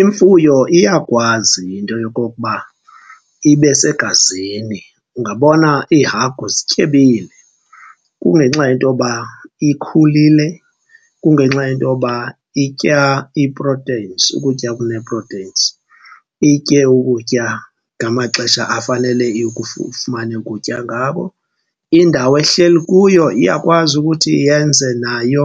Imfuyo iyakwazi into yokokuba ibe segazini. Ungabona iihagu zityebile kungenxa yento yoba ikhulile, kungenxa yento yoba itya ii-proteins, ukutya okunee-proteins, itye ukutya ngamaxesha afanele ifumane ukutya ngabo. Indawo ehleli kuyo iyakwazi ukuthi yenze nayo